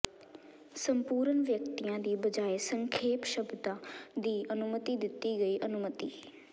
ਸੰਪੂਰਨ ਵਿਅਕਤੀਆਂ ਦੀ ਬਜਾਇ ਸੰਖੇਪ ਸ਼ਬਦਾਂ ਦੀ ਅਨੁਮਤੀ ਦਿੱਤੀ ਗਈ ਅਨੁਮਤੀ